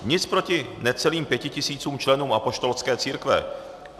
Nic proti necelým pěti tisícům členů Apoštolské církve.